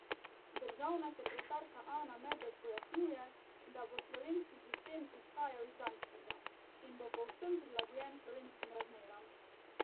Državna sekretarka Ana Medved pojasnjuje, da bo slovenski sistem izhajal iz danskega: "in bo povsem prilagojen slovenskim razmeram.